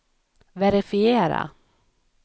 verifiera